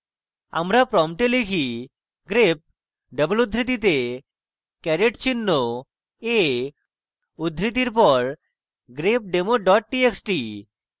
আমরা prompt type: grep double উদ্ধৃতিতে caret চিহ্ন a উদ্ধৃতির পর grepdemo ডট txt